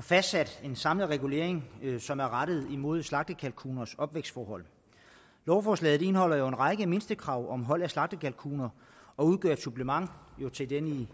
fastsat en samlet regulering som er rettet imod slagtekalkuners opvækstforhold lovforslaget indeholder jo en række mindstekrav om hold af slagtekalkuner og udgør et supplement til den